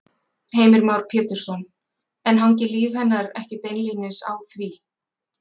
Heimir Már Pétursson: En hangir líf hennar ekki beinlínis á því?